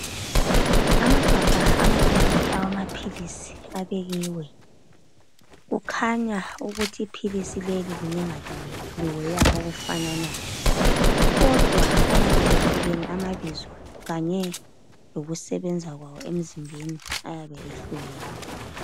Amagabha ababili awamapilisi abekhiwe. Kukhaya amapilisi ukuthi ipilisi leli linye ngalinya liweya okhufanayo, kodwa ayabe ehlukene ababizio kanye lokusebenza kwawo emzimbeni, auyabe euhlukene.